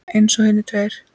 Eins og hinir tveir.